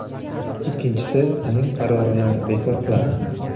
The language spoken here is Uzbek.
ikkinchisi uning qarorini bekor qiladi.